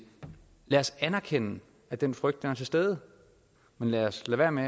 lad os anerkende at den frygt er til stede men lad os lade være med